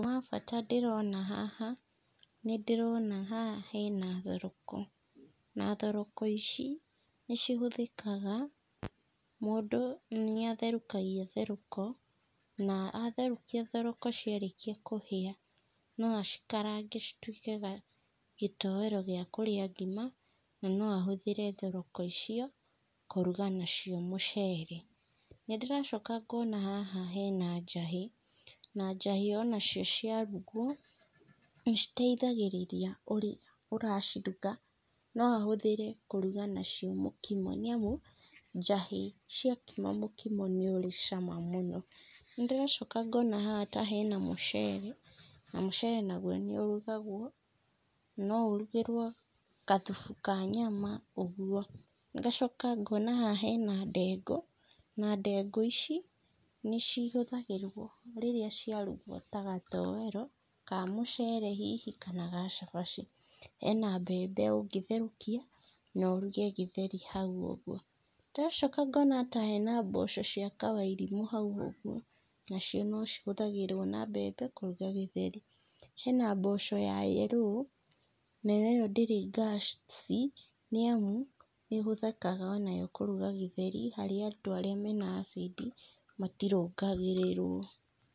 Ũndũ wa bata ndĩrona haha, nĩ ndĩrona haha hena thoroko. Na thoroko ici, nĩcihũthĩkaga, mũndũ nĩatherũkagia thoroko, na atherũkia thoroko ciarĩkia kũhĩa, no acikarange cituĩke ga gĩtowero gĩa kũrĩa ngima, na no ahũthĩre thoroko icio, kũruga nacio mũcere. Nindĩracoka ngona haha hena njahĩ, na njahĩ onacio ciarugwo, nĩciteithagĩrĩria ũrĩa ũraciruga, no ahũthĩre kũruga nacio mũkimo, nĩamu njahĩ ciakima mũkimo nĩũrĩ cama mũno. Nĩndĩracoka ngona haha ta harĩ na mũcere, na mũcere naguo nĩũrugagwo, no ũrugĩrwo gathubu ka nyama, ũguo, ngacoka ngona haha hena ndengũ, na ndengũ ici, nĩcihũthagĩrwo rĩrĩa ciarugwo ta gatowero, ka mũcere hihi kana ga cabaci. Hena mbembe ũngĩtherukia, na ũruge gĩtheri hau ũguo, ndĩracoka ngona ta hena mboco cia kawairimũ hau ũguo, nacio no cihũthagĩrwo na mbembe kũruga gĩtheri. Hena mboco ya yerũ, nayo ĩyo ndĩrĩ ngasi, nĩamu nĩhũthĩkaga onayo kũuga gĩtheri harĩ andũ arĩa mena acidi, matirungũragĩrwo.